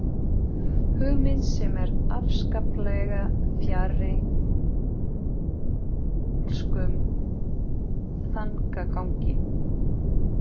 Hugmynd sem er afskaplega fjarri kaþólskum þankagangi.